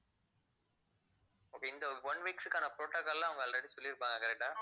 okay இந்த one weeks க்கான protocol எல்லாம் அவங்க already சொல்லிருப்பாங்க correct ஆ